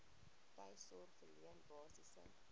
tuissorg verleen basiese